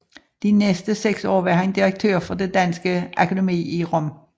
De næste 6 år var han direktør for Det danske Akademi i Rom